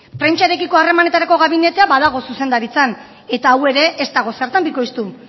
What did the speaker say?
prentsarekiko harremanetarako gabinetea badago zuzendaritzan eta hau ere ez dago zertan bikoiztu